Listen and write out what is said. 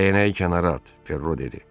Dəyənəyi kənara at, Ferro dedi.